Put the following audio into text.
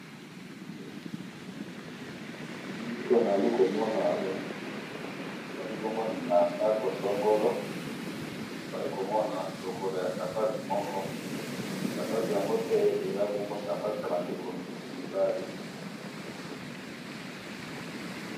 Elili oyo nazali komona awa, ezalibongo nandako songo, nazali komona lokolo yasapatu moko, sapatu yango pe eza bongo sapato yabandeko mibali.